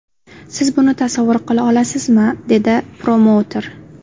Siz buni tasavvur qila olasizmi?” dedi promouter.